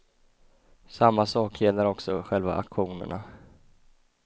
Samma sak gäller också själva aktionerna.